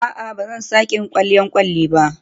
A'a, ba zan sake yin kwalliyar kwalin ba.